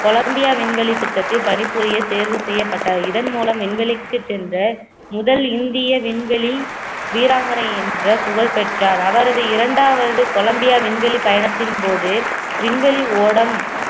Colombia விண்வெளி திட்டத்தை பணிபுரிய தேர்வு செய்யப்பட்ட இதன் மூலம் விண்வெளிக்கு சென்ற முதல் இந்திய விண்வெளி வீராங்கனை என்ற புகழ் பெற்றார் அவரது இரண்டாவது கொலம்பியா விண்வெளி பயணத்தின் போது விண்வெளி ஓடம்